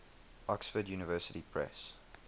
oxford university press